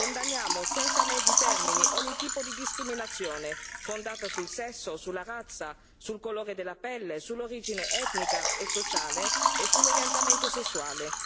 Condanniamo senza mezzi termini ogni tipo di discriminazione fondata sul sesso, sulla razza, sul colore della pelle, sull'origine etnica e sociale e sull'orientamento sessuale.